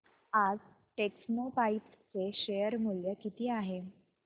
आज टेक्स्मोपाइप्स चे शेअर मूल्य किती आहे